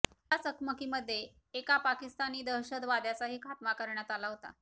या चकमकीमध्ये एका पाकिस्तानी दशतवाद्याचाही खात्मा करण्यात आला होता